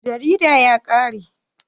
Jaridan ya ƙare.